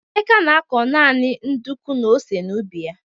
Emeka na-akọ naanị nduku na ose n'ubi ya.